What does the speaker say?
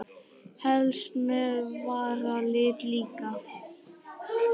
Helst með varalit líka.